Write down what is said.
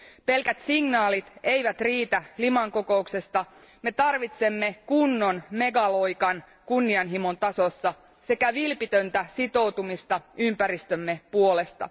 Pelkät signaalit eivät riitä Liman kokouksesta, me tarvitsemme kunnon megaloikan kunnianhimon tasossa sekä vilpitöntä sitoutumista ympäristömme puolesta.